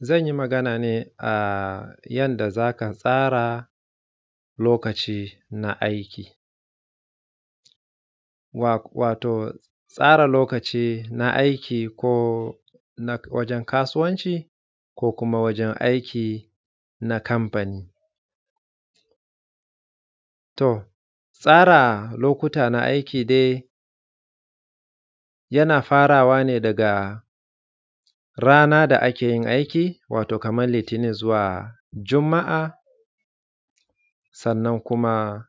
Zan yi magana ne kan yadda za ka tsara lokaci na aiki, wato tsara lokaci na aiki ko wurin kasuwanci ko na kamfani yana farawa ne daga ranakun da ake aiki kaman litini zuwa jumu’a sannan kuma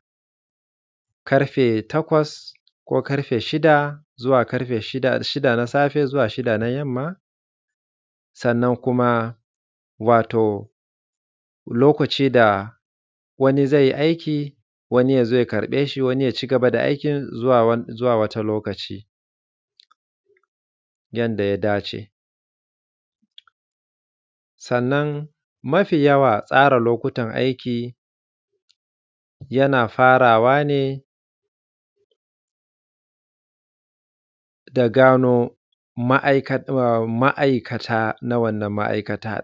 ƙarfe takwas ko ƙarfe shida na safe zuwa na yamma. Sannan kuma lokacin da wani zai aiki wani zai karɓe shi zuwa wani lokaci yadda ya dace, sannan mafi yawa tsara lokutan aiki yana farawa ne da gano ma’aikata na wannan wurin da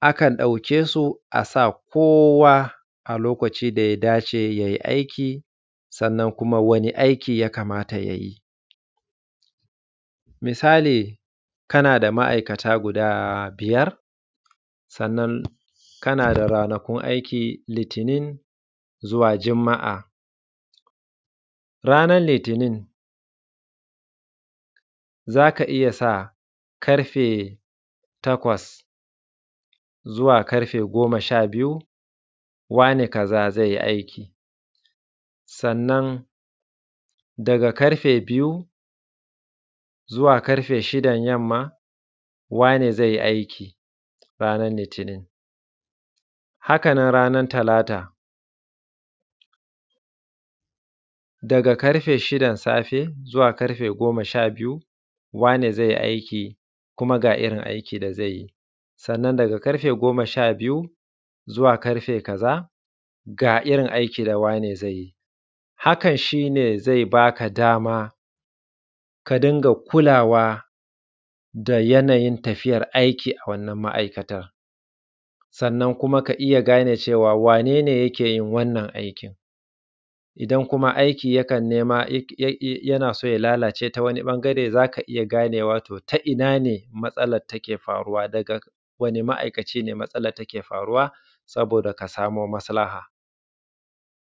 aka ɗauke su, a sa kowa ya yi aiki a lokacin da ya dace, sannan kuma wani aiki ya kamata ya yi misali kana da ma’aikata guda biyar sannan kana da ranaku litini zuwa juma’a. za ka iya sa ƙarfe takwas zuwa ƙarfe sha biyu wannan e ka za zai yi aiki sannan daga ƙarfe biyu zuwa shidan yamma wane zai yi aiki. Haka nan ran talata kuma ga irin aikin da zai yi haka shi zai ba ka dama ka riƙa kulawa da yanayin aiki a wannan ma’aikatan sannan kuma ka iya gane cewa wane ne yake yin wannan aikin idan kuma aiki na so ya lalace za ka iya gane wa ta ina ne matsalan take faruwa saboda ka samo maslaha.